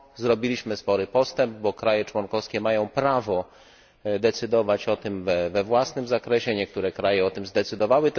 Zrobiliśmy spory postęp, bo kraje członkowskie mają prawo decydować we własnym zakresie. Niektóre kraje o tym zdecydowały.